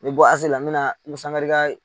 N mɛ bɔ AC la n bɛna Umu Sankare ka